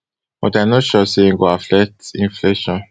but i but i no sure e go affect inflation